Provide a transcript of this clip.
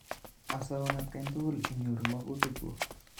Asaun atkan tukul inyoru makutik kuk.